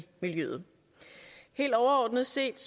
miljøet helt overordnet set